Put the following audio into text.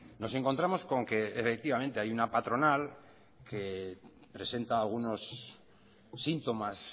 nos encontramos con que efectivamente hay una patronal que presenta unos síntomas